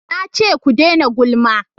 Na ce ku dena gulma!